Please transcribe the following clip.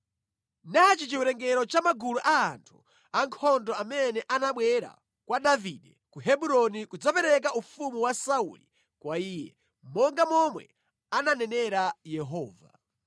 Nachi chiwerengero cha magulu a anthu ankhondo amene anabwera kwa Davide ku Hebroni kudzapereka ufumu wa Sauli kwa iye, monga momwe ananenera Yehova: